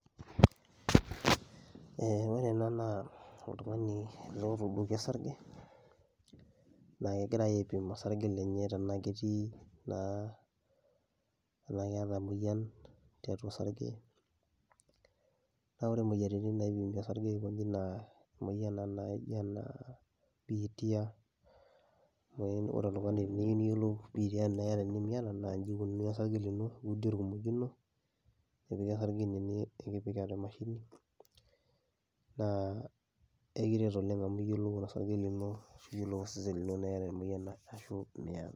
Ee ore ena naa oltungani ele otuuduoki osarge, na kegira aipim osarge lenye tanaa ketii naa tanaa keeta emoyian tiatua osarge, na ore moyiaritin naipimi osarge na kuna nijo naa bitia, ore eneyiolouni ajo iyata biitia ashu miata na kipimi osarge lino nepiki ene nepiki atua emashini na ekiret oleng amu iyiolou osesen lini tanaa iyata emoyian tanaa miata .